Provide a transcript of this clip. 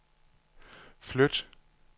flyt